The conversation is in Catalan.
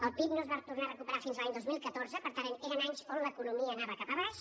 el pib no es va tornar a recuperar fins a l’any dos mil catorze per tant eren anys en els quals l’economia anava cap a baix